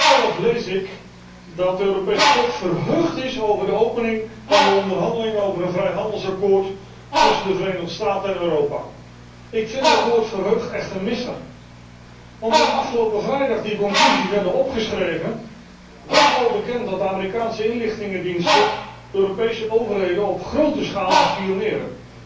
Voorzitter, in Raadsconclusie nr. 11 lees ik dat de Europese Top verheugd is over de opening van de onderhandelingen over een vrijhandelsakkoord tussen de Verenigde Staten en Europa. Ik vind dat woord verheugd echt een misser, want toen afgelopen vrijdag die conclusies werden opgeschreven, was al bekend dat de Amerikaanse inlichtingendiensten Europese overheden op grote schaal bespioneren.